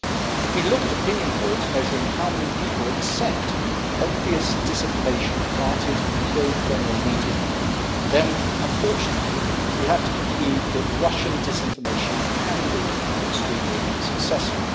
If we look at opinion polls measuring how many people accept obvious disinformation planted in pro Kremlin media, then unfortunately we have to conclude that Russian disinformation can be extremely successful.